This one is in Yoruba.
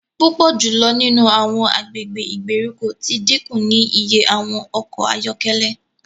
Pupọ julọ nínú awọn agbègbè ìgbèríko ti dínkù ní ìyè awọn ọkọ ayọkẹlẹ